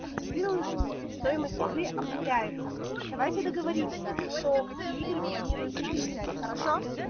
активируешь его и стоимость игры обнуляется давайте договоримся кто какие игры планирует себе взять хорошо